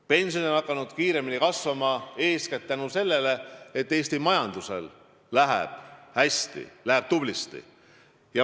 Pensionid on hakanud kiiremini kasvama eeskätt tänu sellele, et Eesti majandusel läheb hästi, läheb tublisti.